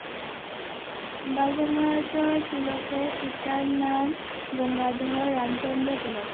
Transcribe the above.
বালগঙ্গাধর তিলকের পিতার নাম গঙ্গাধর রামচন্দ্র তিলক